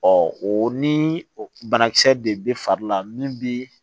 o ni banakisɛ de bɛ fari la min bi